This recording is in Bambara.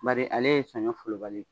Bari ale ye saɲɔ fɔlɔbali ye.